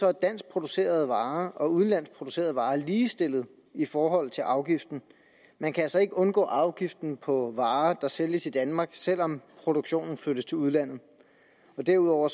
er danskproducerede varer og udenlandsk producerede varer ligestillet i forhold til afgiften man kan altså ikke undgå afgiften på varer der sælges i danmark selv om produktionen flyttes til udlandet derudover